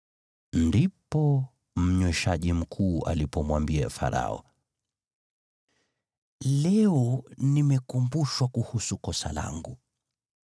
Ndipo mnyweshaji mkuu alipomwambia Farao, “Leo nimekumbushwa kuhusu kosa langu.